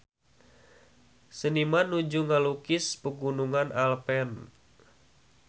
Seniman nuju ngalukis Pegunungan Alpen